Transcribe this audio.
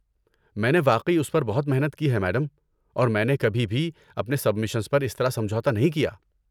میں نے واقعی اس پر بہت محنت کی ہے، میڈم، اور میں نے کبھی بھی اپنی سبمیشنز پر اس طرح سمجھوتہ نہیں کیا۔